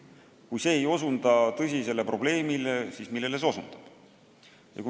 Kui see ei osuta tõsisele probleemile, siis millele see osutab?